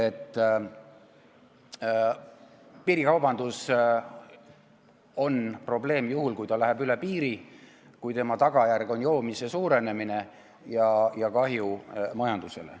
Piirikaubandus on probleem juhul, kui see läheb üle piiri, kui selle tagajärg on joomise suurenemine ja kahju majandusele.